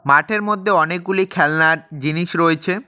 মাঠের মধ্যে অনেকগুলি খেলনার জিনিস রয়েছে।